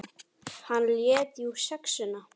Hann lét jú SEXUNA.